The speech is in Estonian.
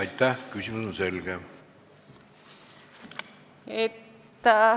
Aitäh-aitäh!